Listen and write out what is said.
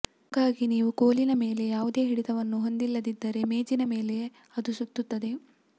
ಹಾಗಾಗಿ ನೀವು ಕೋಲಿನ ಮೇಲೆ ಯಾವುದೇ ಹಿಡಿತವನ್ನು ಹೊಂದಿಲ್ಲದಿದ್ದರೆ ಮೇಜಿನ ಮೇಲೆ ಅದು ಸುತ್ತುತ್ತದೆ